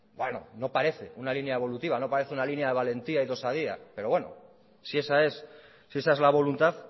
bueno no parece una línea evolutiva no parece una línea de valentía y de osadía pero si esa es la voluntad